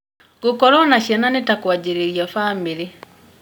Gũkorwo na ciana nĩ ta kũanjĩrĩria bamĩrĩ.